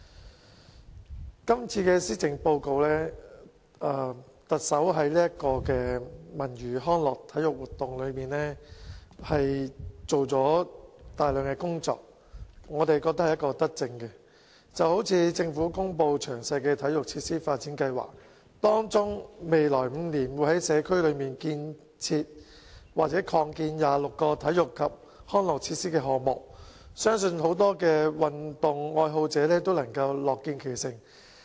在今次的施政報告中，特首在文娛康體活動方面做了大量工作，我們覺得是一項德政，例如政府公布詳細的體育設施發展計劃，包括未來5年會在社區增建或重建26個體育及康樂設施，相信很多運動愛好者均樂見其成。